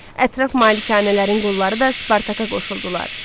Ətraf malikanələrin qulları da Spartaka qoşuldular.